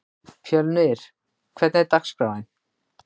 Fjölnir, hvernig er dagskráin?